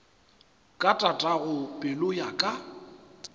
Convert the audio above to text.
ka tatago pelo ya ka